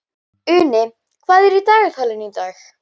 Uni, hvað er í dagatalinu í dag?